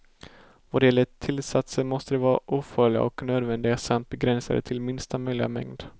Vad gäller tillsatser måste de vara ofarliga och nödvändiga samt begränsade till minsta möjliga mängd.